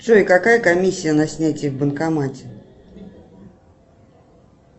джой какая комиссия на снятие в банкомате